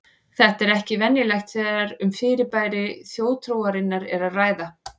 Þetta er ekki venjulegt þegar um fyrirbæri þjóðtrúarinnar er að ræða.